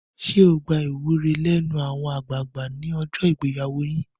Ṣé ẹ gba ìwúre lẹ́nu àwọn àgbààgbà ní ọjọ́ ìgbéyàwó yín?